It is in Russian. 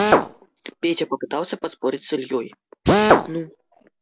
петя попытался поспорить с ильёй